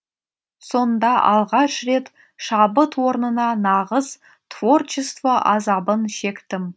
сонда алғаш рет шабыт орнына нағыз творчество азабын шектім